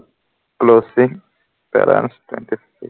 closely, balance twenty three